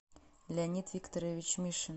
леонид викторович мишин